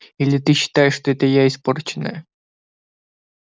или ты считаешь что это я испорченная